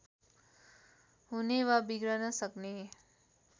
हुने वा बिग्रन सक्ने